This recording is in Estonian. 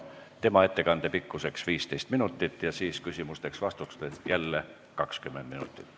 Tema ettekande pikkus on 15 minutit ja siis on küsimusteks-vastusteks aega jälle 20 minutit.